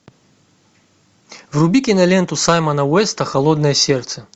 вруби киноленту саймона уэста холодное сердце